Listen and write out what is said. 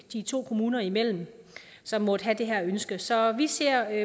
de to kommuner imellem som måtte have det her ønske så vi ser